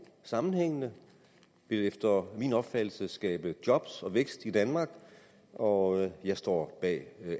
sammenhængende og efter min opfattelse skabe job og vækst i danmark og jeg står bag